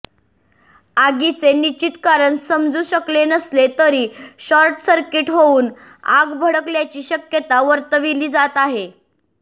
आगीचे निश्चित कारण समजू शकले नसले तरी शॉर्टसर्किट होऊन आग भडकल्याची शक्यता वर्तविली जात आहे